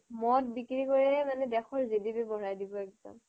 মদ বিক্ৰী কৰিয়েই মানে দেশৰ GDP বঢ়াই দিব একদম